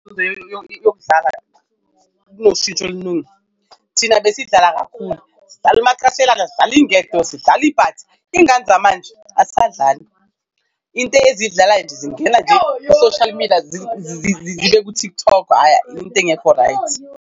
Yokudlala kunoshintsho oluningi. Thina besidlala kakhulu, sidlala umacashelana, sidlala ingekho, sidlala ibhathi, iy'ngane zamanje asadlali. Into eziyidlalayo nje zingena nje ku-social media, zibe ku-TikTok into engekho-right.